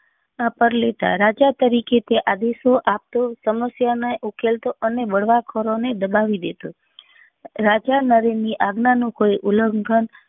પર લેતા રાજા તરીકે તે આદેશો આપતો ને સમસ્યા ઓ ને ઉકેલતો અને બળવા ખોરો ને દબાવી દેતો રાજા નરેન ની આજ્ઞા નું કોઈ ઉલ્લગ્ન